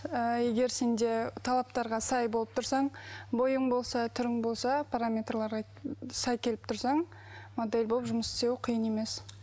ыыы егер сенде талаптарға сай болып тұрсаң бойың болса түрің болса параметрларға сай келіп тұрсаң модель болып жұмыс істеу қиын емес